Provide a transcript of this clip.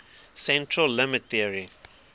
central limit theorem